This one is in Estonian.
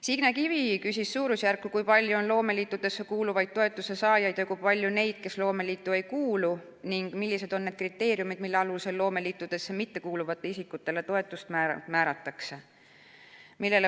Signe Kivi küsis suurusjärku, kui palju on loomeliitudesse kuuluvaid toetuse saajaid ja kui palju neid, kes loomeliitu ei kuulu, ning millised on need kriteeriumid, mille alusel loomeliitudesse mittekuuluvatele isikutele toetust määratakse.